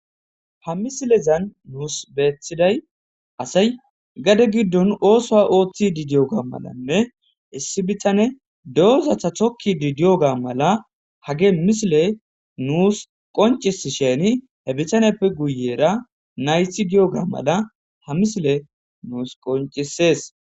Ha misilezan nuus beethiday asay gade giddon ooso ooththi didiyoga malanne issi bitane doozatha thokki didiyoga mala hage misile nuus qoncis sheni he bitaneppe guyera naythi giyoga mala ha misile nuus qoncisees.